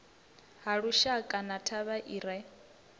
halushaka na thavha i re